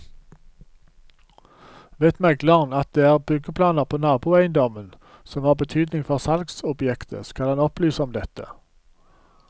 Vet megleren at det er byggeplaner på naboeiendommen som har betydning for salgsobjektet, skal han opplyse om dette.